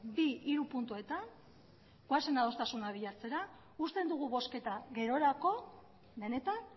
bi hiru puntuetan goazen adostasuna bilatzera uzten dugu bozketa gerorako benetan